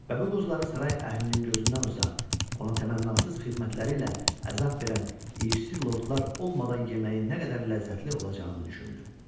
Və bu qozları saray əhlinin gözündən uzaq, ona təmənnasız xidmətləri ilə əzab verən irsi lordlar olmadan yeməyin nə qədər ləzzətli olacağını düşündü.